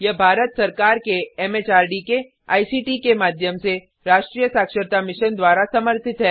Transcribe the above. यह भारत सरकार के एमएचआरडी के आईसीटी के माध्यम से राष्ट्रीय साक्षरता मिशन द्वारा समर्थित है